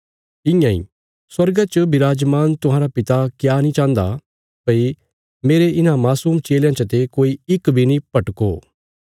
इयां इ स्वर्गा च विराजमान तुहांरा पिता क्या नीं चाहन्दा भई मेरे इन्हां मासूम चेलयां चते कोई इक बी नीं भटको